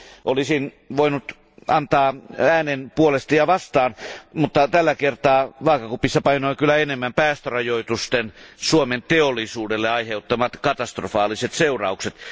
Olisin voinut antaa äänen puolesta ja vastaan, mutta tällä kertaa vaakakupissa painoi kyllä enemmän päästörajoitusten Suomen teollisuudelle aiheuttamat katastrofaaliset seuraukset.